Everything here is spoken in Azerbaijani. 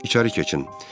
İçəri keçin.